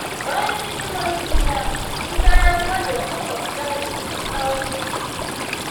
Bayan hidimar suna, Musa ya gode wa maƙwabta da suka kawo kyaututtuka.